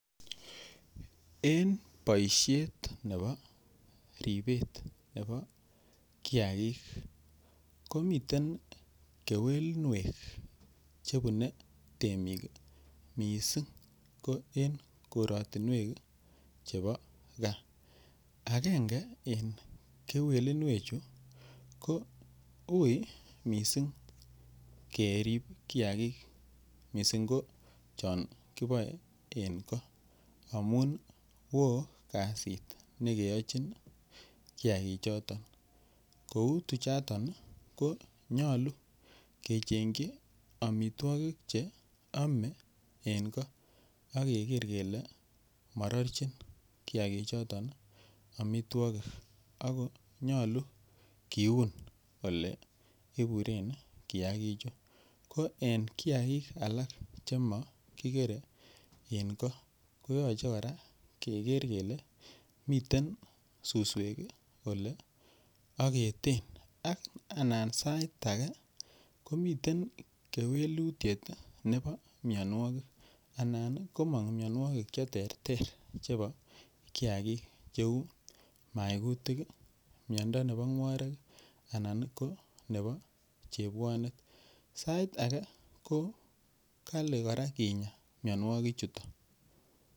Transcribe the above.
en boishet nebo riibet nebo kiagiik, komiten kewelinweek chebune temiik misiing ko en korotinweek chebo gaa, agenge en kewelinweek chu ko uui mising keriib kiagiik mising ko chon kiboe en ko amuun ooh kasiit negeochinn kiagiik choton kouu tuchoton konyolu kechengyi omitwogik cheome en koo ak keree kele mororchin kiagiik choton omitwogii, ak konyolu kiuun oleibureen kiagiik chu ko en kiagiik alaak chemogigere en koo koyoche koraa kegerr kele miten susweek oleogeteen, ak anan sait age komiten kewelutyeet nebo myonwogik, anan komong myonwogik cheterter cheuu maautik iih myondo nebo ngworiik iih anan ko nebo chebwoneet saiit age ko kali koraa kinyaa myonwogiik chuton.